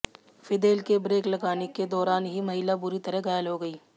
Fidel के brake लगाने के दौरान ही महिला बुरी तरह घायल हो गई